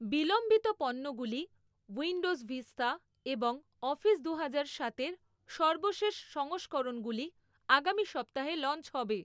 বিলম্বিত পণ্যগুলি, Windows Vista এবং অফিস দুহাজার সাতের সর্বশেষ সংস্করণগুলি আগামী সপ্তাহে লঞ্চ হবে৷